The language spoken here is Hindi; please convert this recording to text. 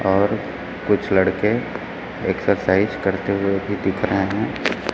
और कुछ लड़के एक्सरसाइज करते हुए भी दिख रहे हैं।